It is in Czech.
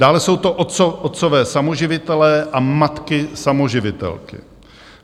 Dále jsou to otcové samoživitelé a matky samoživitelky.